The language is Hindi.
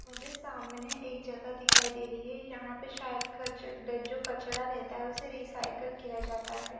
मुझे सामने एक जगह दिखाई दे रही है यहां पे शायद क जो कचड़ा रहता है उसे रिसाइकल किया जाता है।